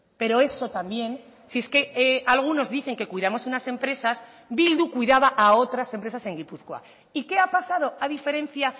pero eso también si es que algunos dicen que cuidamos unas empresas bildu cuidaba a otras empresas en gipuzkoa y qué ha pasado a diferencia